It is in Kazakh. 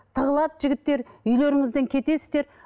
тығылады жігіттер үйлеріңізден кетесіздер